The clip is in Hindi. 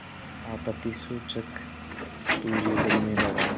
आपत्तिसूचक तूर्य बजने लगा